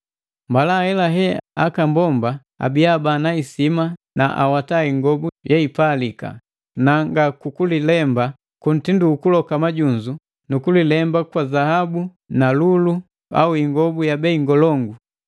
Mbala ahelahe aka mbomba abiya bana isima na awata ingobu yeipalika; na nga kukujilemba ku mitindu ukuloka majunzu, kulipamba kwa zaabu, lulu au ingobu ya bei ngolongu,